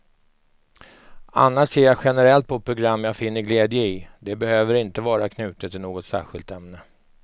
Annars ser jag generellt på program jag finner glädje i, det behöver inte vara knutet till något särskilt ämne.